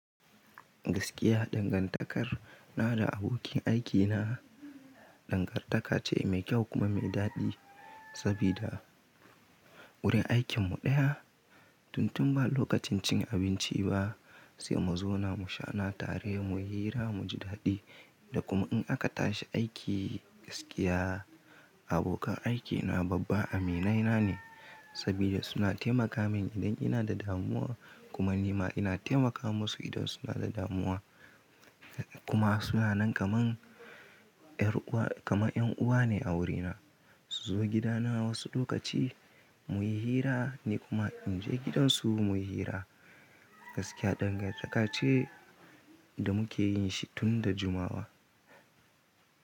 Gaskiya dangantakar na da abokin aikina dangantaka ce mai kyau kuma mai daɗi sabida wurin aikinmu ɗaya. Tun tun ba lokacin cin abinci ba sai mu zo na mu sha na tare muyi hira muji daɗi da kuma in aka tashi aiki gaskiya abokan aikina babba aminaina ne sabida suna taimaka min idan ina da damuwa kuma nima ina taimakawa musu idan suna da damuwa kuma suna nan kaman ƴar uwa kaman ƴan uwa ne a wurina. Su zo gidana wasu lokaci muyi hira ni kuma in je gidansu muyi hira. Gaskiya dangantaka ce da muke yin shi tun da jumawa.